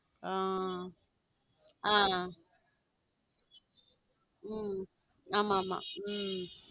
c ஹம் ஹம் ஆமா ஆமா ஹம்